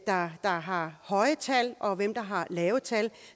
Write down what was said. har har høje tal og hvem der har lave tal